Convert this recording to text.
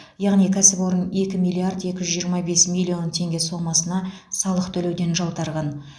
яғни кәсіпорын екі миллиард екі жүз жиырма бес миллион теңге сомасына салық төлеуден жалтарған